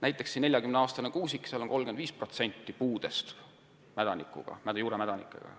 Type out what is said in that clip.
Näiteks 40-aastases kuusikus on 35% puudest mädanikuga, juuremädanikuga.